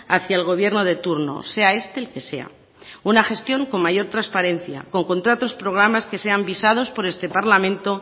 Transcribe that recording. hacia el gobierno de turno sea este el que sea una gestión con mayor transparencia con contratos programas que sean visados por este parlamento